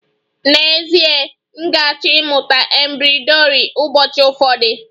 N'ezie, m ga-achọ ịmụta embroidri ụbọchị ụfọdụ